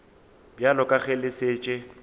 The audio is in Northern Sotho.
bjalo ka ge le šetše